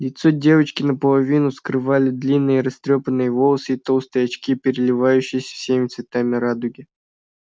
лицо девочки наполовину скрывали длинные растрёпанные волосы и толстые очки переливающиеся всеми цветами радуги